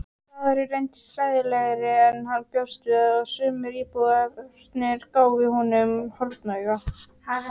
Staðurinn reyndist hræðilegri en hann bjóst við og sumir íbúarnir gáfu honum hornauga.